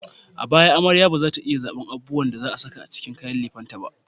A baya, amarya ba za ta iya zabar abubuwan da za a sa a kayan lefen ta ba.